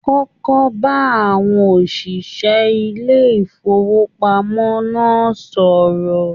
kọ́kọ́ b'áwọn oṣiṣẹ ilé ifowopamọ náà sọrọ!